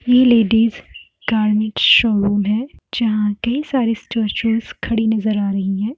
ये ladies showroom है जहाँ ढ़ेर सारी स्टेचूस खड़ी नज़र आ रही है।